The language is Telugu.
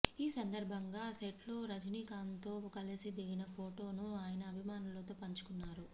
ఈ సందర్భంగా సెట్లో రజినీకాంత్తో కలిసి దిగిన ఫొటోను ఆయన అభిమానులతో పంచుకున్నారు